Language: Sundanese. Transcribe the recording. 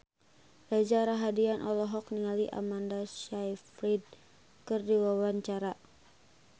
Reza Rahardian olohok ningali Amanda Sayfried keur diwawancara